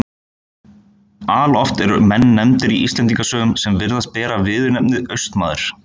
Alloft eru menn nefndir í Íslendingasögum sem virðast bera viðurnefnið Austmaður.